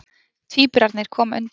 Tvíburarnir koma undir.